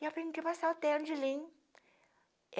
E eu tinha que passar o terno de linho.